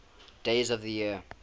days of the year